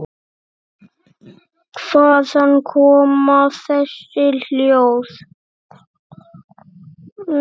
Hvaðan koma þessi hljóð?